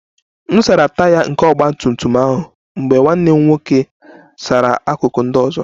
M sara Taya nke ọgba tum tum ahụ mgbe nwanne m nwoke sara akụkụ ndị ọzọ